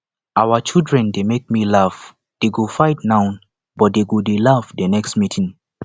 our children dey make me laugh dey go fight now but dey go dey laugh the next meeting